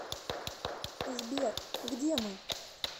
сбер где мы